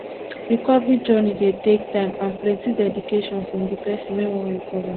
recovery journey dey take time and plenty dedication from di person wey wan recover